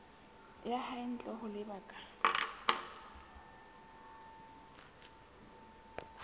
ya hae ntle ho lebaka